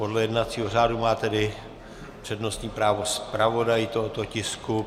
Podle jednacího řádu má tedy přednostní právo zpravodaj tohoto tisku.